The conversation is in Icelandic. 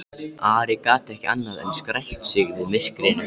Ari gat ekki annað en skælt sig við myrkrinu.